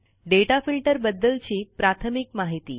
दाता filter बद्दलची प्राथमिक माहिती